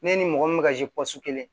Ne ni mɔgɔ min bɛ ka kelen